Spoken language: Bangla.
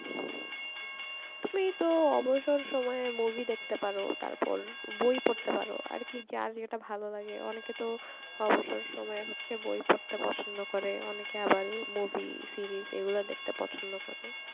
তুমি তো অবসর সময়ে movie দেখতে পারো তারপর বই পড়তে পারো আর কি যার যেটা ভালো লাগে অনেকে তো অবসর সময় হচ্ছে বই পড়তে পছন্দ করে অনেকে আবার movie series এগুলো দেখতে পছন্দ করে ।